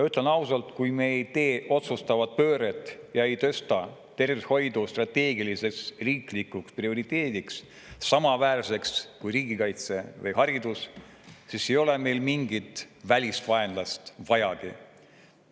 Ütlen ausalt, kui me ei tee otsustavat pööret ja ei tõsta tervishoidu strateegiliseks riiklikuks prioriteediks, samaväärseks kui riigikaitse või haridus, siis ei ole meil mingit välist vaenlast vajagi.